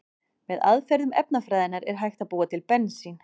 Með aðferðum efnafræðinnar er hægt að búa til bensín.